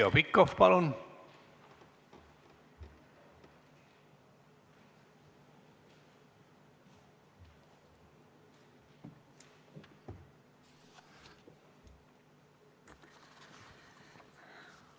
Heljo Pikhof, palun!